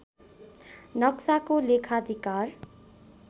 नक्साको लेखाधिकार